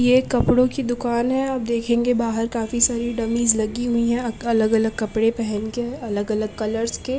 ये एक कपड़ो की दुकान है आप देखेंगे बाहर काफी सारी डम्मीज लगी हुई है अग अलग अलग कपड़े पहन के अलग अलग कलरस के --